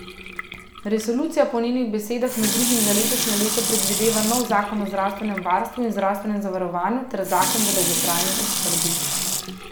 Resolucija po njenih besedah med drugim za letošnje leto predvideva nov zakon o zdravstvenem varstvu in zdravstvenem zavarovanju ter zakon v dolgotrajni oskrbi.